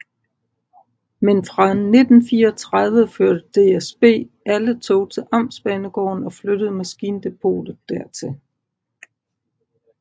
Men fra 1934 førte DSB alle tog til amtsbanegården og flyttede maskindepotet dertil